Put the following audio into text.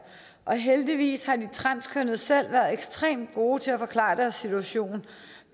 og heldigvis har de transkønnede selv været ekstremt gode til at forklare deres situation